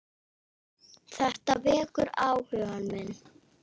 Þetta vekur áhuga minn.